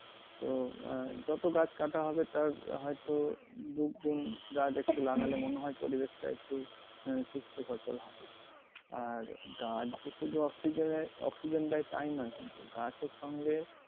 তো আহ যত গাছ কাঁটা হবে তার হয়তো দুগুন গাছ একটু লাগালে মনে হয় পরিবেশটা একটু আহ সুস্থ হতো আরকি। আর গাছ যে শুধু অক্সিজেনে~ অক্সিজেন দেয় টা না গাছের সঙ্গে